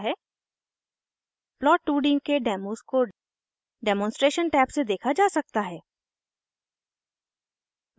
प्लॉट2d के डेमोज़ को demonstration tab से देखा जा सकता है